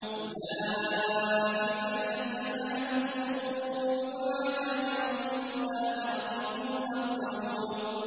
أُولَٰئِكَ الَّذِينَ لَهُمْ سُوءُ الْعَذَابِ وَهُمْ فِي الْآخِرَةِ هُمُ الْأَخْسَرُونَ